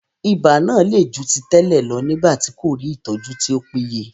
Ibà náà le ju ti tẹ́lẹ̀ lọ nígbà tí kò rí ìtọ́jú tí ó péye.